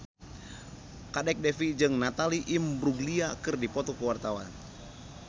Kadek Devi jeung Natalie Imbruglia keur dipoto ku wartawan